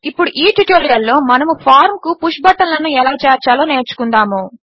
ఇప్పుడు ఈ ట్యుటోరియల్లో మనము ఫార్మ్ కు పుష్ బటన్లను ఎలా చేర్చాలో నేర్చుకుందాము